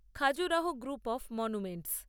Khajuraho group of monuments